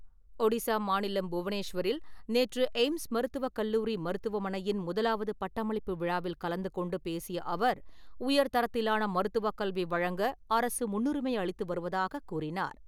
ஒடிசா மாநிலம் புவனேஷ்வரில் நேற்று எய்ம்ஸ் மருத்துவக் கல்லூரி மருத்துவமனையின் முதலாவது பட்டமளிப்பு விழாவில் கலந்து கொண்டு பேசிய அவர், உயர்தரத்திலான மருத்துவக் கல்வி வழங்க அரசு முன்னுரிமை அளித்து வருவதாகக் கூறினார் .